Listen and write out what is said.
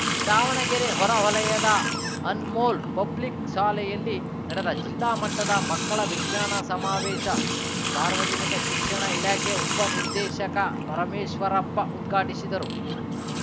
ದಾವಣಗೆರೆ ಹೊರ ವಲಯದ ಅನ್‌ಮೋಲ್‌ ಪಬ್ಲಿಕ್‌ ಶಾಲೆಯಲ್ಲಿ ನಡೆದ ಜಿಲ್ಲಾ ಮಟ್ಟದ ಮಕ್ಕಳ ವಿಜ್ಞಾನ ಸಮಾವೇಶ ಸಾರ್ವಜನಿಕ ಶಿಕ್ಷಣ ಇಲಾಖೆ ಉಪ ನಿರ್ದೇಶಕ ಪರಮೇಶ್ವರಪ್ಪ ಉದ್ಘಾಟಿಸಿದರು